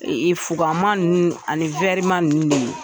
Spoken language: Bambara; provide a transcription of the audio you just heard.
fugan ma ninnu ani ma ninnu de ye.